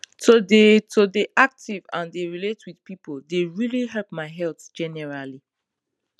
to dey to dey active and dey relate with people dey really help my health generally